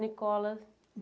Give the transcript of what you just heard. Nicolas.